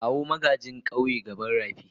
kawo magagin gayi gaban raki.